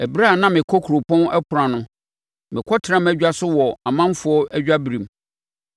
“Ɛberɛ a na mekɔ kuropɔn ɛpono ano mekɔtena mʼadwa so wɔ ɔmanfoɔ adwaberem,